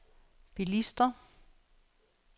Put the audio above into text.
bilister